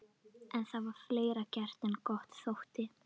En það var fleira gert en gott þótti.